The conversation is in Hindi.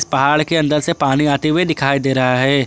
पहाड़ के अंदर से पानी आते हुए दिखाई दे रहा है।